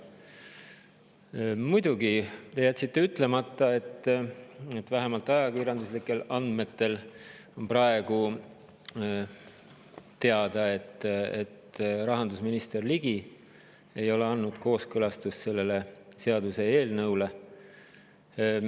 Te muidugi jätsite ütlemata selle – vähemalt ajakirjanduse andmetel on see praegu teada –, et rahandusminister Ligi ei ole andnud sellele seaduseelnõule kooskõlastust.